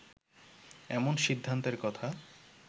এমন সিদ্ধান্তের কথা